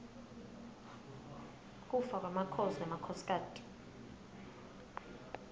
kufa kwemakhosi nemakhosikati